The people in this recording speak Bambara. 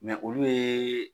Mɛ olu ye